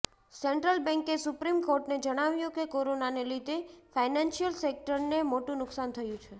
central બેંકે supreme કોર્ટને જણાવ્યું કે કોરોનાને લીધે ફાઈનાન્શિયલ સેક્ટરને મોટુ નુકશાન થયું છે